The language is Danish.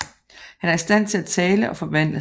Han er i stand til at tale og forvandle sig